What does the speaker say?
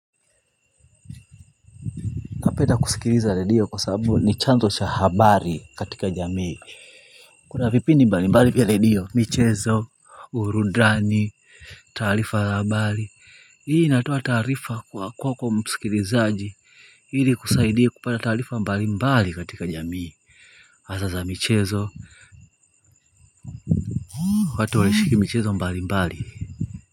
Napenda kusikiliza redio kwa sababu ni chanzo cha habari katika jamii kuna vipindi mbali mbali vya redio, michezo, burudani, taarifa za habari hii inatoa taarifa kwako msikilizaji hili kusaidia kupata taarifa mbali mbali katika jamii hasa za michezo wakati walishiriki michezo mbali mbali.